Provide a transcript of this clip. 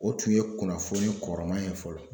O tun ye kunnafoni kɔrɔman ye fɔlɔ.